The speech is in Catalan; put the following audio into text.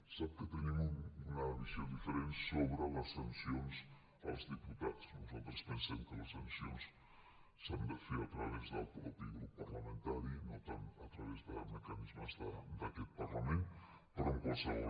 sap que tenim una visió diferent sobre les sancions als diputats nosaltres pensem que les sancions s’han de fer a través del mateix grup parlamentari no tant a través de mecanismes d’aquest parlament però en qualsevol